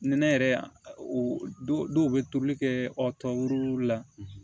Nɛnɛ yɛrɛ don dɔw bɛ toli kɛ ɔ tɔw la